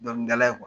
Dɔnkilidala